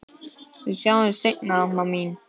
Við sjáumst seinna, amma mín.